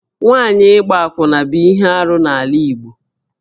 Nwaanyị ịgba akwụna bụ ihe arụ n'ala Igbo